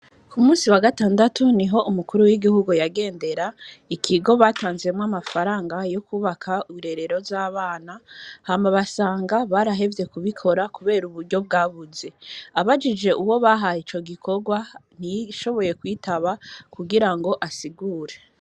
Ku musi wa gatandatu niho umukuru w'igihugu yagendera ikigo batanzemwo amafaranga yo kubaka irerero rya bana hama basanga barahevye ku bikora kubera uburyo bwabuze abajije uwo bahaye igikorwa ntiyashoboye kwitaba kugirango asigure.